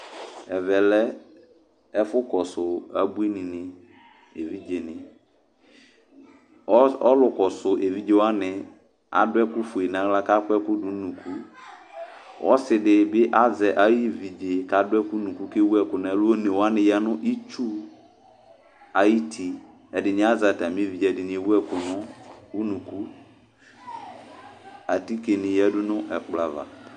Ɛvɛ lɛ ɛfʋkɔsʋ abuinɩnɩ evidzenɩ Ɔs ɔlʋkɔsʋ evidze wanɩ adʋ ɛkʋfue nʋ aɣla kʋ akɔ ɛkʋ dʋ nʋ unuku Ɔsɩ dɩ bɩ azɛ ayuvi kʋ adʋ nʋ unuku kʋ ewu ɛkʋ nʋ ɛlʋ One wanɩ ya nʋ itsu ayuti, ɛdɩnɩ azɛ atamɩ evidze, ɛdɩnɩ ewu ɛkʋ nʋ unuku Atikenɩ yǝdu nʋ ɛkplɔ ava